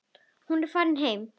Hún er farin heim.